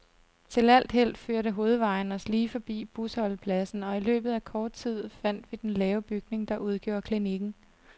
Til alt held førte hovedvejen os lige forbi busholdepladsen, og i løbet af kort tid fandt vi den lave bygning, der udgjorde klinikken.